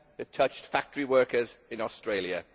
it touched factory workers in Australia.